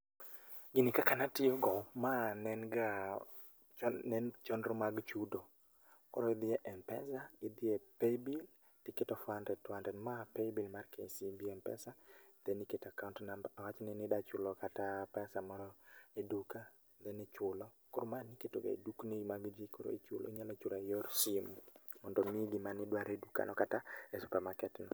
Gini kaka natiyo go, ma nen ga nen chondro mag chudo. Koro idhi e m-pesa, idhi e Paybill tiketo four hundred two hundred ma Paybill mar KCB M-PESA then iketo account number awachni nidachulo kata pesa moro e duka then ichulo. Koro ma niketo ga e dukni mag jii koro ichulo inyalo chura gi yor simu mondo omiyi gimanidwaro e dukano kata e supamaket no